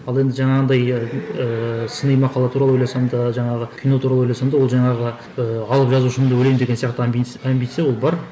ал енді жаңағындай ыыы сыни мақала туралы ойласам да жаңағы кино туралы ойласам да ол жаңағы ыыы алып жазушымын деп ойлаймын деген сияқты амбиция ол бар